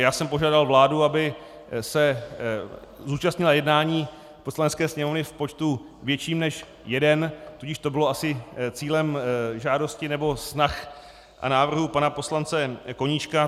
Já jsem požádal vládu, aby se zúčastnila jednání Poslanecké sněmovny v počtu větším než jeden, tudíž to bylo asi cílem žádosti nebo snah a návrhů pana poslance Koníčka.